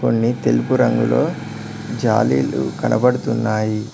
కొన్ని తెలుపు రంగులో జాలీలు కనపడుతున్నాయి.